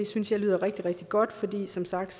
synes jeg lyder rigtig rigtig godt fordi det som sagt